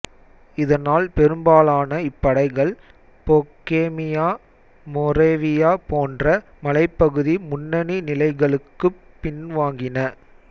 இதனால் பெரும்பாலான இப்படைகள் பொகேமியா மோரேவியா போன்ற மலைப்பகுதி முன்னணி நிலைகளுக்குப் பின்வாங்கின